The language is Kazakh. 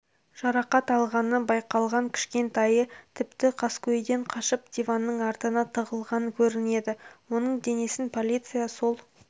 жарақат алғаны байқалған кішкентайы тіпті қаскөйден қашып диванның артына тығылған көрінеді оның денесін полиция сол